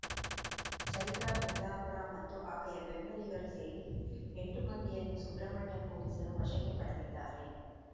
ಚೈತ್ರಾ ಕುಂದಾಪುರ ಮತ್ತು ಆಕೆಯ ಬೆಂಬಲಿಗರು ಸೇರಿ ಎಂಟು ಮಂದಿಯನ್ನು ಸುಬ್ರಹ್ಮಣ್ಯ ಪೊಲೀಸರು ವಶಕ್ಕೆ ಪಡೆದಿದ್ದಾರೆ